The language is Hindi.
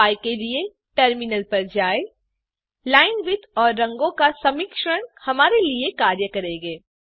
उपाय के लिए टर्मिनल पर जाएँ लाइनविड्थ और रंगो का सामिश्रण हमारे लिए कार्य करेंगे